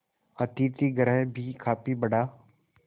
अतिथिगृह भी काफी बड़ा